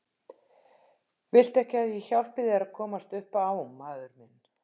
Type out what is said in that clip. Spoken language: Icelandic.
Viltu ekki að ég hjálpi þér að komast upp á maður minn.